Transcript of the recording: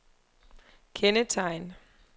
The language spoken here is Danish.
kendetegn